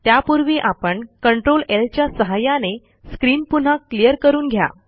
त्यापूर्वी आपण Ctrl ल च्या सहाय्याने स्क्रीन पुन्हा क्लियर करून घ्या